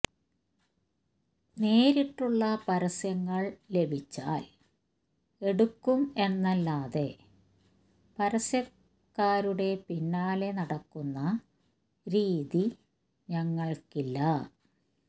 നേരിട്ടുള്ള പരസ്യങ്ങൾ ലഭിച്ചാൽ എടുക്കും എന്നല്ലാതെ പരസ്യക്കാരുടെ പിന്നാലെ നടക്കുന്ന രീതി ഞങ്ങൾക്കില്ല